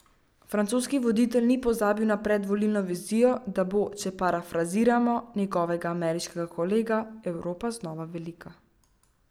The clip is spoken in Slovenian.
Francoski voditelj ni pozabil na predvolilno vizijo, da bo, če parafraziramo njegovega ameriškega kolega, Evropa znova velika.